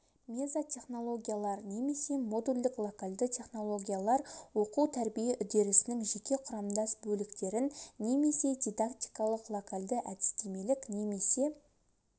мезотехнологиялар немесе модульдік-локальды технологиялар оқу тәрбие үрдесінің жеке құрамдас бөліктерін немесе дидактикалық локальды әдістемелік немесе